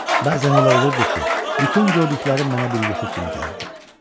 Bəzən elə olurdu ki, bütün gördüklərim mənə bir yuxu kimi gəlirdi.